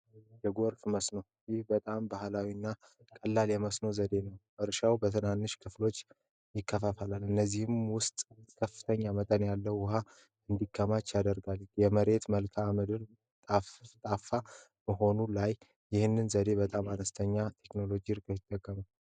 የመከፋፈል መስኖ እርሻው በትናንሽ ክፍሎች ይከፋፈላል እነዚህም ውስጥ ከፍተኛ መጠን ያለ ውሀ ወደ ታች ይገባል የመሬት መልክዓ ምድር ሁኔታ በመሆኑ ላይ ይህንን በጣም አነስተኛ ምርጥ ያስገኛል።